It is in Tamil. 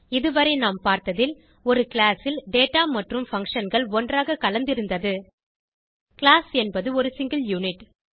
இதுவரை நாம் பார்த்ததில் ஒரு கிளாஸ் ல் டேட்டா மற்றும் functionகள் ஒன்றாக கலந்திருந்தது கிளாஸ் என்பது ஒரு சிங்கில் யுனிட்